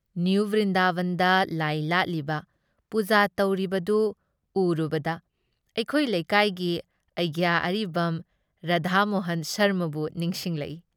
New ꯕ꯭꯭ꯔꯤꯟꯗꯥꯕꯟꯗ ꯂꯥꯏ ꯂꯥꯠꯂꯤꯕ, ꯄꯨꯖꯥ ꯇꯧꯔꯤꯕꯗꯨ ꯎꯔꯨꯕꯗ ꯑꯩꯈꯣꯏ ꯂꯩꯀꯥꯏꯒꯤ ꯑꯩꯒ꯭ꯌꯥ ꯑꯔꯤꯕꯝ ꯔꯥꯙꯥꯃꯣꯍꯟ ꯁꯔꯃꯕꯨ ꯅꯤꯡꯁꯤꯡꯂꯛꯏ ꯫